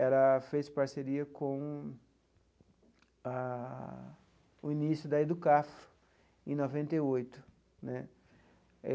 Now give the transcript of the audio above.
Ela fez parceria com a o início da EDUCAF em noventa e oito né.